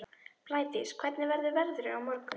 Blædís, hvernig verður veðrið á morgun?